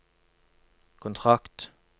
kontrakt